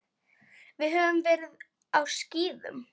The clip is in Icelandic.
Höfðum verið á skíðum.